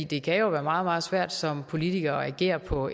det kan jo være meget meget svært som politiker at agere på